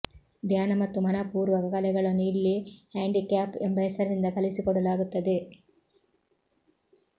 ಧ್ಯಾನ ಮತ್ತು ಮನಃಪೂರ್ವಕ ಕಲೆಗಳನ್ನು ಇಲ್ಲಿ ಹ್ಯಾಂಡಿಕ್ಯಾಪ್ ಎಂಬ ಹೆಸರಿನಿಂದ ಕಲಿಸಿಕೊಡಲಾಗುತ್ತದೆ